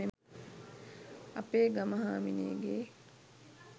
අපේ ගම හාමිනේගේ